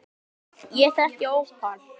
Ég á ekkert ópal